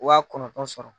Wa kɔnɔntɔn sɔrɔ